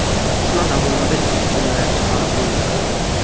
Otishma davomida ikki jinoyatchi ham o‘ldirildi.